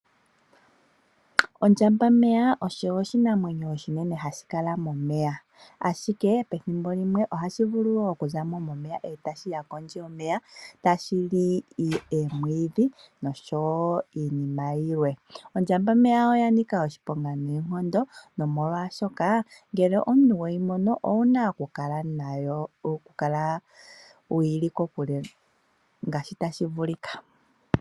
Ondjambameya osho oshinamwenyo oshinene hashi kala momeya, ashike pethimbo limwe ohashivulu okuzamo momeya, etashiya kondje yomeya shilye omwiidhi niinima yilwe. Ondjambameya oyanika oshiponga noonkondo nomolwaashoka, ngele omuntu weyi mono owuna okukala kokule nayo ngaashi tashi vulika.